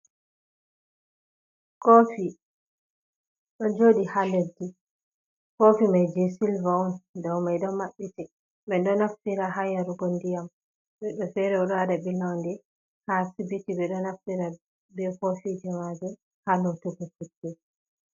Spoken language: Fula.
Kofi ɗo joɗi ha leɗɗi kofi mai je sylvan on dow mai ɗo maɓɓiti ɓeɗo naftiira ha yarugo ndiyam, woɓɓe fere ɗo waɗa ɓilonde ha asibiti ɓe ɗo naftira be kofi majum ha lotugu futte.